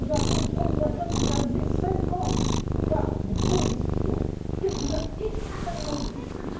présidence tchèque. Nous sommes en train de finaliser cinquante cas de codécision, quelques uns extrêmement